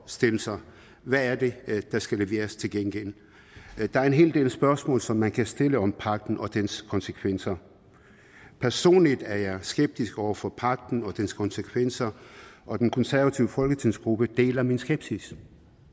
stille sig hvad er det der skal leveres til gengæld der er en hel del spørgsmål som man kan stille om pagten og dens konsekvenser personligt er jeg skeptisk over for pagten og dens konsekvenser og den konservative folketingsgruppe deler min skepsis